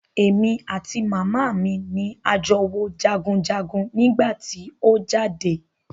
Èmi àti màmá mi ni a jọ wo jagunjagun nígbà tí o jáde.